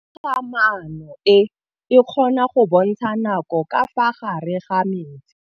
Toga-maanô e, e kgona go bontsha nakô ka fa gare ga metsi.